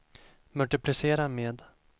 multiplicera med